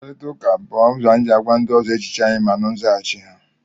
mkparịta ụka bụ ụzọ anyị si agwa ndị ọzọ echiche anyị ma nụ nzaghachi ha